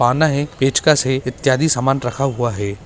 पाना है पेचकस है इत्यादी समान रखा हुआ है।